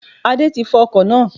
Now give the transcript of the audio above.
Adé ti fọ ọkò náá